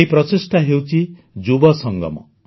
ଏହି ପ୍ରଚେଷ୍ଟା ହେଉଛି ଯୁବ ସଙ୍ଗମ